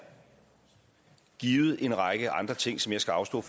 givet en række andre ting som jeg skal afstå